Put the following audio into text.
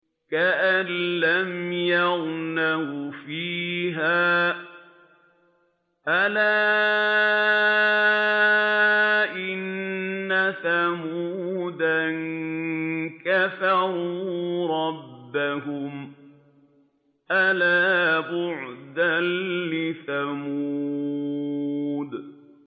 كَأَن لَّمْ يَغْنَوْا فِيهَا ۗ أَلَا إِنَّ ثَمُودَ كَفَرُوا رَبَّهُمْ ۗ أَلَا بُعْدًا لِّثَمُودَ